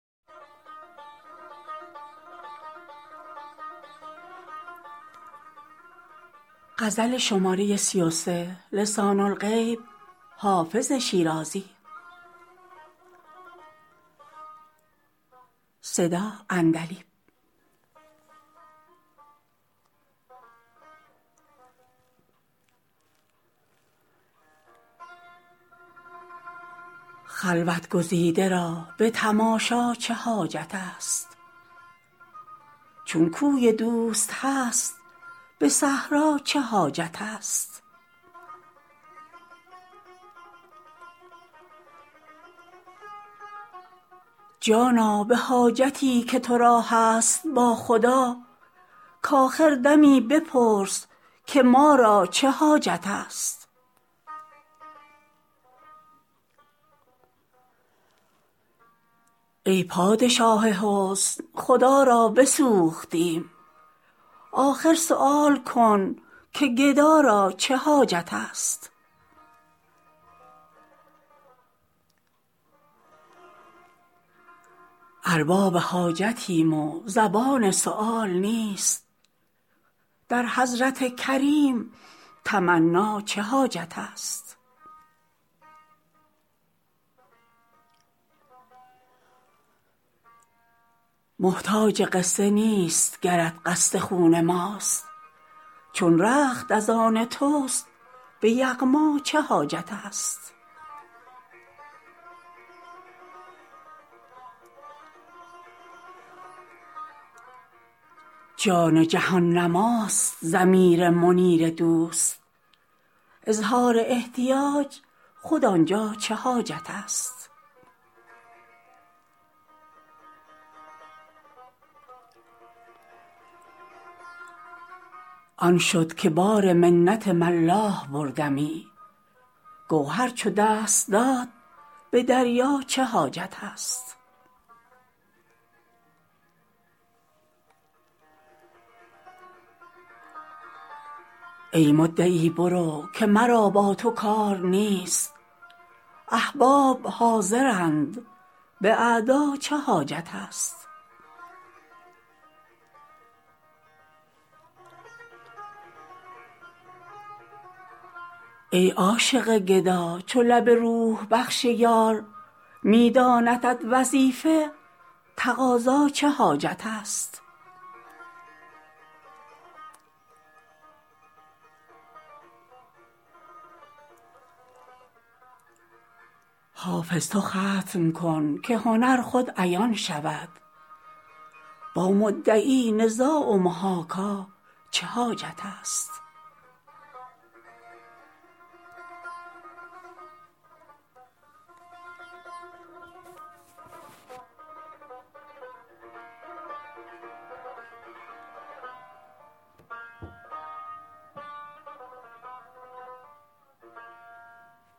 خلوت گزیده را به تماشا چه حاجت است چون کوی دوست هست به صحرا چه حاجت است جانا به حاجتی که تو را هست با خدا کآخر دمی بپرس که ما را چه حاجت است ای پادشاه حسن خدا را بسوختیم آخر سؤال کن که گدا را چه حاجت است ارباب حاجتیم و زبان سؤال نیست در حضرت کریم تمنا چه حاجت است محتاج قصه نیست گرت قصد خون ماست چون رخت از آن توست به یغما چه حاجت است جام جهان نماست ضمیر منیر دوست اظهار احتیاج خود آن جا چه حاجت است آن شد که بار منت ملاح بردمی گوهر چو دست داد به دریا چه حاجت است ای مدعی برو که مرا با تو کار نیست احباب حاضرند به اعدا چه حاجت است ای عاشق گدا چو لب روح بخش یار می داندت وظیفه تقاضا چه حاجت است حافظ تو ختم کن که هنر خود عیان شود با مدعی نزاع و محاکا چه حاجت است